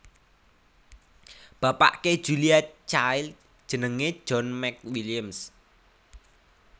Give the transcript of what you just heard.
Bapake Julia Child jenenge John McWilliams